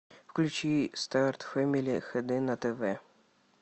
включи старт фэмели хд на тв